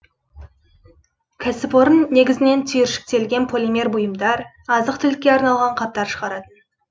кәсіпорын негізінен түйіршіктелген полимер бұйымдар азық түлікке арналған қаптар шығаратын